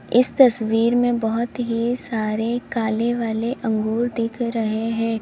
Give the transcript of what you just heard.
इस तस्वीर में बहोत ही सारे काले वाले अंगूर दिख रहे हैं।